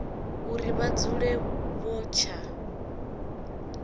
uri vha dzule vho tsha